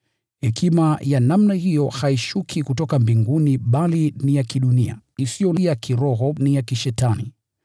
Hekima ya namna hiyo haishuki kutoka mbinguni, bali ni ya kidunia, isiyo ya kiroho, na ya kishetani.